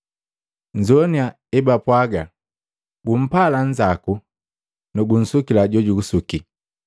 “Nnzoini ebapwaaga, ‘Gumpala nnzako na gunsukila jojugusuki.’